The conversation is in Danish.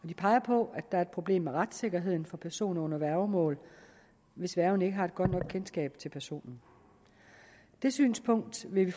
de peger på at der er et problem med retssikkerheden for personer under værgemål hvis værgen ikke har et godt nok kendskab til personen det synspunkt vil vi